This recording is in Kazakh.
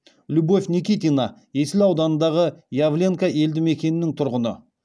любовь никитина есіл ауданындағы явленка елді мекенінің тұрғыны